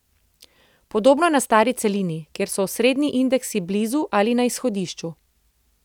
Podobno je na stari celini, kjer so osrednji indeksi blizu ali na izhodišču.